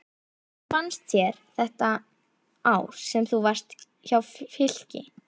Hvernig fannst þér þetta ár sem þú varst hjá Fylki?